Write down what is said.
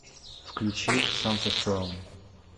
включи самсас траум